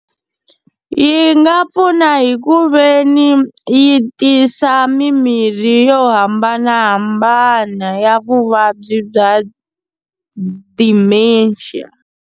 Yi nga pfuna hi ku veni yi tisa mimirhi yo hambanahambana ya vuvabyi bya Dementia.